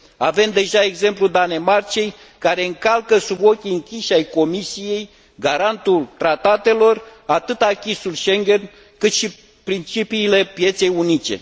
Avem deja exemplul Danemarcei, care încalcă sub ochii închiși ai Comisiei, garantul tratatelor, atât acquis ul Schengen, cât și principiile pieței unice.